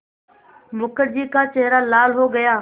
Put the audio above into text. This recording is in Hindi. मुखर्जी का चेहरा लाल हो गया